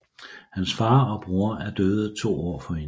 Hans far og bror er døde to år forinden